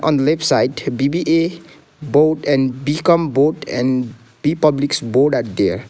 on left side B_B_A board and B_Com board and p publics board at there.